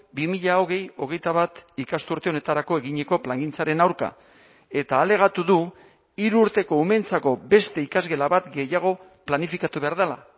bi mila hogei hogeita bat ikasturte honetarako eginiko plangintzaren aurka eta alegatu du hiru urteko umeentzako beste ikasgela bat gehiago planifikatu behar dela